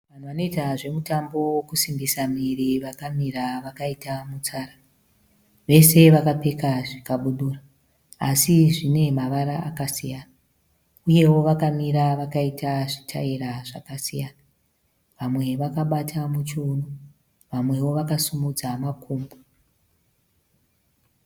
Vanoita zvemutambo wekusimbisa miviri vakamira vakaita mitsara. Vese vakapfeka zvikabudura asi zvine mavara akasiyana. Uyewo vakamira vakaita zvitaira zvakasiyana. Vamwe vakabata muchiuno, vamwewo vakasimudza makumbo.